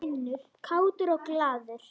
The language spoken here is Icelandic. Kátur og glaður.